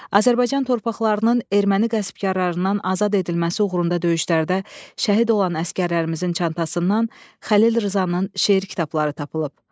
Azərbaycan torpaqlarının erməni qəsbkarlarından azad edilməsi uğrunda döyüşlərdə şəhid olan əsgərlərimizin çantasından Xəlil Rzanın şeir kitabları tapılıb.